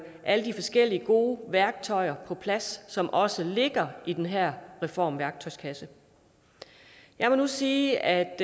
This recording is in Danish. alle de forskellige gode værktøjer på plads som også ligger i den her reformværktøjskasse jeg må nu sige at